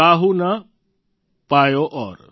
કાહુ ન પાયૌ ઔર